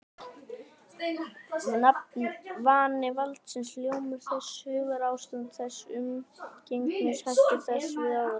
Vani valdsins, hljómur þess, hugarástand þess, umgengnishættir þess við aðra.